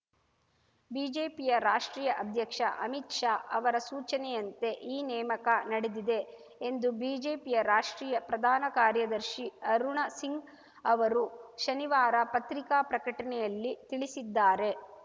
ಬಿಜೆಪಿಯ ರಾಷ್ಟ್ರೀಯ ಅಧ್ಯಕ್ಷ ಆಮಿತ್‌ ಶಾ ಅವರ ಸೂಚನೆಯಂತೆ ಈ ನೇಮಕ ನಡೆದಿದೆ ಎಂದು ಬಿಜೆಪಿಯ ರಾಷ್ಟ್ರೀಯ ಪ್ರಧಾನ ಕಾರ್ಯದರ್ಶಿ ಅರುಣ ಸಿಂಗ್‌ ಅವರು ಶನಿವಾರ ಪತ್ರಿಕಾ ಪ್ರಕಟಣೆಯಲ್ಲಿ ತಿಳಿಸಿದ್ದಾರೆ